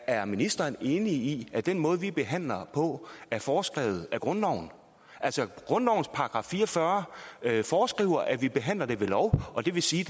er ministeren enig i at den måde vi behandler på er foreskrevet af grundloven altså grundlovens § fire og fyrre foreskriver at vi behandler det ved lov og det vil sige